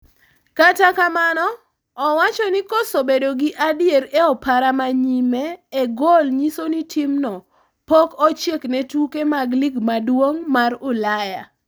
Kata kamano, owachoni koso bedo gi adier e opara ma nyime e gol nyiso nitimno pok ochiek ne tuke mag lig maduong' mar Ulaya.